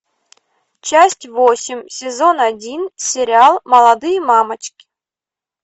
часть восемь сезон один сериал молодые мамочки